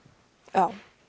já